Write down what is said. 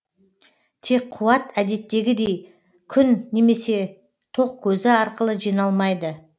тек қуат әдеттегідей күн немесе тоқ көзі арқылы жиналмайды